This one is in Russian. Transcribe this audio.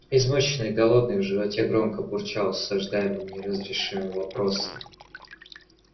измученный голодный в животе громко бурчало осаждаемый неразрешимыми вопросами